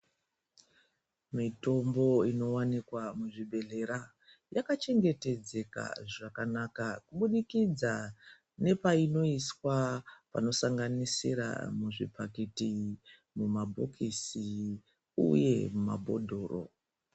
Mitombo inowanika muzvibhedhlera yakachengetedzeka zvakanaka kubudikidza nepainoiswa panosanganisira muzvibhagidhi mumabhokisi uye muma bhodhoro.